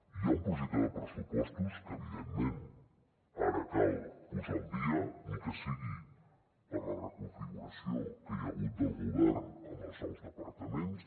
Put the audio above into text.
hi ha un projecte de pressupostos que evidentment ara cal posar al dia ni que sigui per la reconfiguració que hi ha hagut del govern amb els nous departaments